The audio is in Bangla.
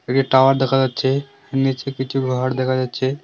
একটি টাওয়ার দেখা যাচ্ছে নীচে কিছু ঘর দেখা যাচ্ছে।